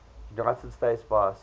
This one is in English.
united states vice